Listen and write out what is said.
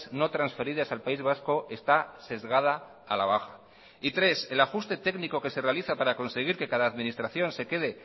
no transferidas al país vasco está sesgada a la baja y tres el ajuste técnico que se realiza para conseguir que cada administración se quede